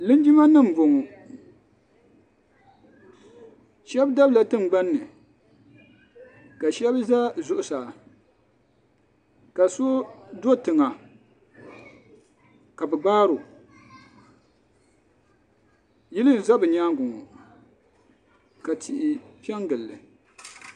Linjima nima n bɔŋɔ shɛba dabila tiŋgbani ni ka shɛba za zuɣusaa ka so do tiŋa ka bi gbari o yili n za bi yɛanga ŋɔ ka tihi pɛ n gili li.